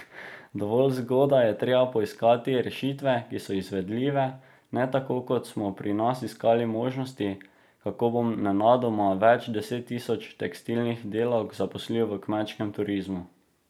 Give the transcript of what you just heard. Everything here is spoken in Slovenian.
Dovolj zgodaj je treba poiskati rešitve, ki so izvedljive, ne tako, kot smo pri nas iskali možnosti, kako bomo nenadoma več deset tisoč tekstilnih delavk zaposlili v kmečkem turizmu.